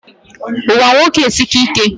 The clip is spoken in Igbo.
Ụwa nwoke esika ike